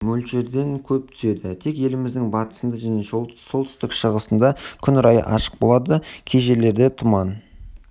мөлшерден көп түседі тек еліміздің батысында және солтүстік-шығысында күн райы ашық болады кей жерлерде тұман